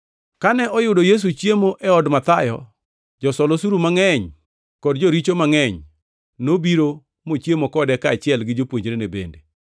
Kane oyudo Yesu chiemo e od Mathayo, josol osuru mangʼeny kod joricho mangʼeny nobiro mochiemo kode kaachiel gi jopuonjrene bende.